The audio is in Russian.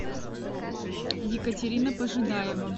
екатерина пожидаева